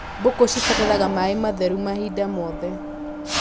Mbũkũ cibataraga maĩ matheru mahinda mothe.